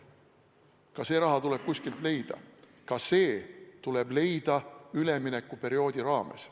Ka see raha tuleb kuskilt leida, ka see tuleb leida üleminekuperioodi raames.